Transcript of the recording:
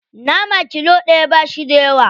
Nama kilo ɗaya ba shi da yawa.